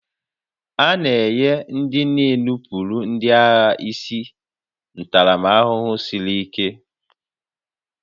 A na-enye ndị na-enupụrụ ndị agha isi ntaramahụhụ siri ike